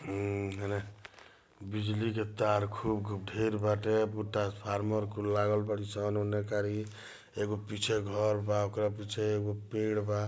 बिजली के तार खूब कहि ब ढेर बाटे बूटा फार्मर खु लागल पद एवं पीछे घर बा ऑकड़ा पीछे वो पेड़ बा।